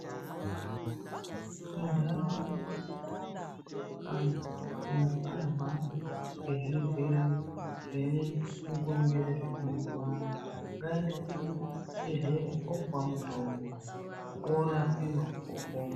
Muntaraunda medu muno kana muntu arwara ngezvirwere zvine mukurumbira zvemazuva ano, ngaaende kuchibhehlera oopuwa mutombo, oorapiwa, opona.